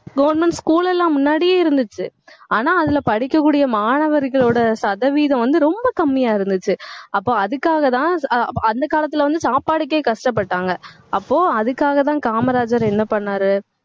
government school எல்லாம் முன்னாடியே இருந்துச்சு ஆனா அதுல படிக்கக்கூடிய மாணவர்களோட சதவீதம் வந்து, ரொம்ப கம்மியா இருந்துச்சு அப்போ அதுக்காகதான், அஹ் அந்த காலத்துல வந்து சாப்பாட்டுக்கே கஷ்டப்பட்டாங்க அப்போ அதுக்காகதான் காமராஜர் என்ன பண்ணாரு